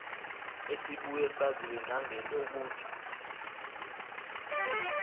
esibuye saziwe nangelokuthi